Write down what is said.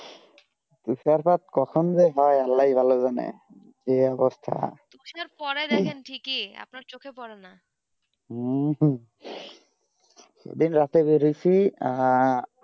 তুষার পাট কখন যে হয়ে আল্লাহ ই ভালো জানে এই অবস্থা তুষার পড়া দেখেন ঠিক ই আপনার চোক পরে না হম যদি রাতে ধরেছি আহ